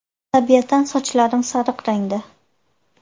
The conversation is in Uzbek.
Tabiatan sochlarim sariq rangda.